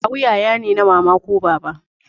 Kawu yaya ne na mama ko na baba